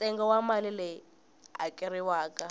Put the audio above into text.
ntsengo wa mali leyi hakeriwaka